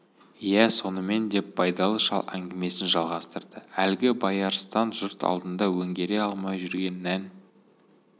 иә сонымен деп байдалы шал әңгімесін жалғастырды әлгі байарыстан жұрт алдына өңгере алмай жүрген нән